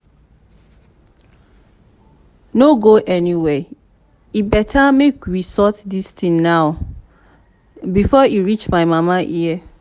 no go anywhere e better make we make we sort dis thing now before e reach my mama ear